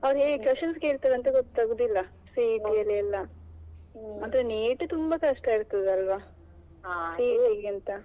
ಅವ್ರು ಹೇಗೆ questions ಕೇಳ್ತಾರೆ ಅಂತ ಗೊತ್ತಾಗುದಿಲ್ಲ CET ಯಲ್ಲಿ ಎಲ್ಲಾ. ಮಾತ್ರ NEET ತುಂಬಾ ಕಷ್ಟ ಇರ್ತದಲ್ವಾ CET ಗಿಂತ ?